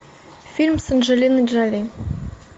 фильм с анджелиной джоли